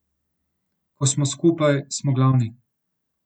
Ko smo skupaj, smo glavni.